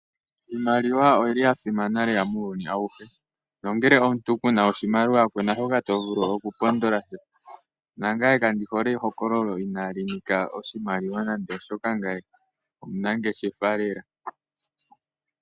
Iimaliwa oyili lela ya simana muuyuni awuhe. Nongele omuntu kuna oshimaliwa kuna shoka to vulu oku pondola. Nangaye kandi hole ehokololo ina li nika oshimaliwa nande oshoka ngaye omunangeshefa lela.